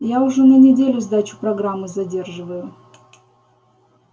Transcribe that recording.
я уже на неделю сдачу программы задерживаю